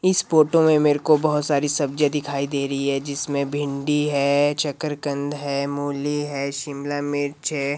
इस फोटो में मेरे को बहोत सारी सब्जियां दिखाई दे रही हैं जिसमें भिंडी हैं शकरकंद है मूली हैं शिमलामिर्च हैं।